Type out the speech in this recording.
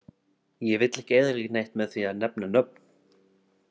Ég vill ekki eyðileggja neitt með því að nefna nöfn.